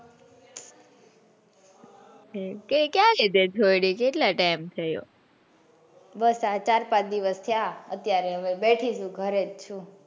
ક્યાં છોડી તે કેટલો time થયો બસ આ ચાર પાંચ દિવસ થયા અત્યારે બેઠી જ છું ગરે જ છું.